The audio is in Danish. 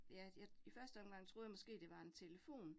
Ja, jeg i første omgang troede jeg måske, det var en telefon